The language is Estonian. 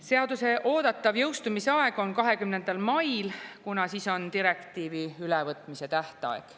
Seaduse oodatav jõustumise aeg on 20. mail, kuna siis on direktiivi ülevõtmise tähtaeg.